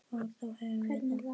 Og þá höfum við það.